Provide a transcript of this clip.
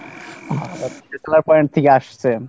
point থেকে আসছেন।